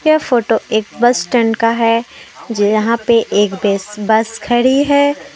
यह फोटो एक बस स्टैंड का है जहां पे एक बेस बस खड़ी है।